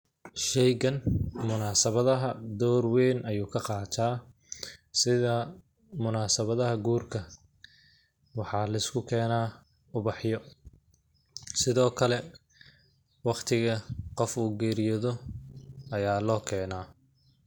Sheygan munaasabadaha door weyn ayu ka qataa sida munasabadaha guurka ,waxaa lisku kenaa ubaxyo ,sidoo kale waqtiga qofka uu geeriyoodo ayaa loo kenaa.